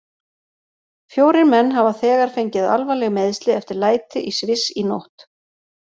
Fjórir menn hafa þegar fengið alvarleg meiðsli eftir læti í Sviss í nótt.